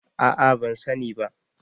A'a ban sani ba